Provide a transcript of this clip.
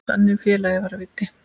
Þannig félagi var Viddi.